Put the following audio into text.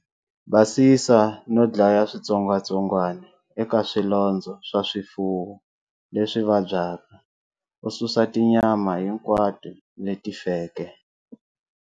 Basisa no dlaya switsongwatsongwana eka swilondzo swa swifuwo leswi vabyaka, u susa tinyama hinkwato leti feke.